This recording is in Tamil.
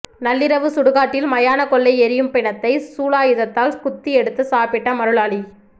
நள்ளிரவு சுடுகாட்டில் மயான கொள்ளை எரியும் பிணத்தை சூலாயுதத்தால் குத்தி எடுத்து சாப்பிட்ட மருளாளி